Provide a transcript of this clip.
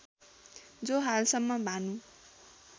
जो हालसम्म भानु